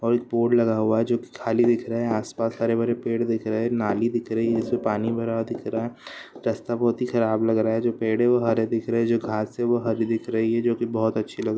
और एक बोर्ड लगा हुआ है जो की खाली दिख रहा है| आस पास हरे भरे पेड़ दिख रहे है नाली दिख रही है| इसमे पानी भरा हुआ दिख रहा है| रास्ता बहुत ही खराब लग रहा है| जो पेड़ है वो हरे दिख रहे है| जो घास है जो हरी दिख रही है| जो की बहुत अच्छी लग रही है।